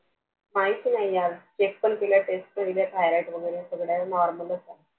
काहीच नाहि यार check केले Test thyroid वगैरे सगळं Normal च आहे